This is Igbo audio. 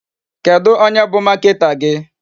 Kedụ onye bụ marketer gị?